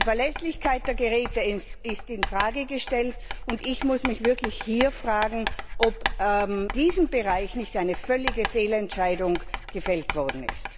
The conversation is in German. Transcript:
Die Verlässlichkeit der Geräte ist in Frage gestellt, und ich muss mich hier wirklich fragen, ob in diesem Bereich nicht eine völlige Fehlentscheidung gefällt worden ist.